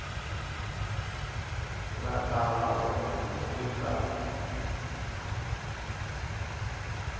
nga ta va kona eka